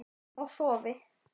Og sofi.